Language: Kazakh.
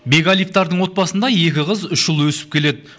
бекәлиевтардың отбасында екі қыз үш ұл өсіп келеді